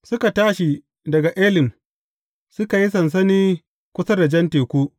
Suka tashi daga Elim, suka yi sansani kusa da Jan Teku.